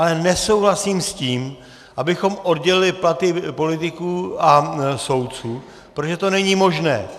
Ale nesouhlasím s tím, abychom oddělili platy politiků a soudců, protože to není možné.